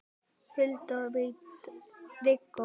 Hulda og Viggó.